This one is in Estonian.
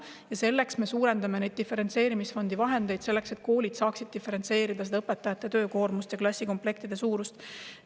Ja selleks me suurendame diferentseerimisfondi vahendeid, et koolid saaksid diferentseerida õpetajate töökoormust ja klassikomplektide suurust.